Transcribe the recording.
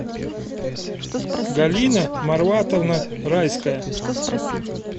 галина марватовна райская